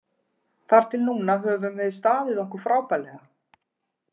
Þar til núna höfum við staðið okkur frábærlega.